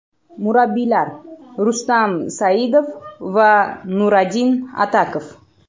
Murabbiylar: Rustam Saidov va Nuradin Atakov.